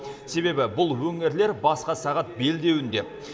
себебі бұл өңірлер басқа сағат белдеуінде